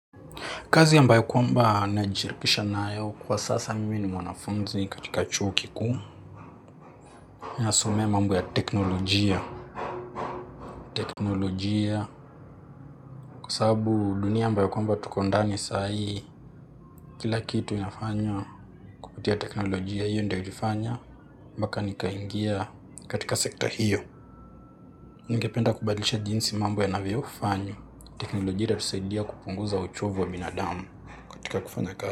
Kazi ambayo kwamba najishirikisha nayo kwa sasa mimi ni mwanafunzi katika chuo kikuu. Ninasomea mambo ya teknolojia. Teknolojia kwa sababu dunia ambayo kwamba tuko ndani saa hii, kila kitu inafanywa kupitia teknolojia. Hiyo ndio ilifanya mpaka nikaingia katika sekta hiyo. Ningependa kubadilisha jinsi mambo yanavyofanywa. Teknolojia itatusaidia kupunguza uchovu wa binadamu, katika kufanya kazi.